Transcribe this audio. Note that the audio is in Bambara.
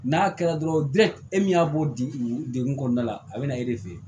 N'a kɛra dɔrɔn e min y'a b'o di degun kɔnɔna la a be na e de fe yen